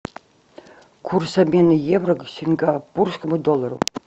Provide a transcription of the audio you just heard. курс обмена евро к сингапурскому доллару